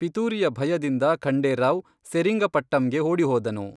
ಪಿತೂರಿಯ ಭಯದಿಂದ ಖಂಡೇ ರಾವ್ ಸೆರಿಂಗಪಟ್ಟಂಗೆ ಓಡಿಹೋದನು.